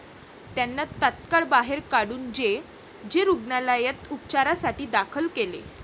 त्यांना तात्काळ बाहेर काढून जे. जे. रुग्णालयात उपचारासाठी दाखल केले.